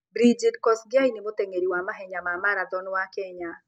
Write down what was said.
Brigid Kosgei nĩ mũteng'eri wa mahenya ma marathon wa Kenya.